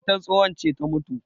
matar tsohon ce ta mutu